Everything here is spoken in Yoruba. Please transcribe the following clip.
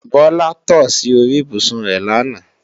Bọ́lá tò sí orí ibùsùn rẹ làná